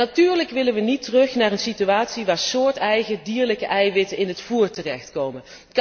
Natuurlijk willen wij niet terug naar een situatie waarin soorteigen dierlijke eiwitten in het voer terechtkomen.